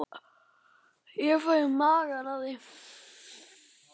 Ég fæ í magann af því.